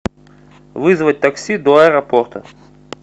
вызвать такси до аэропорта